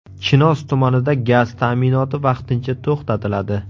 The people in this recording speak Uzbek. Chinoz tumanida gaz ta’minoti vaqtincha to‘xtatiladi.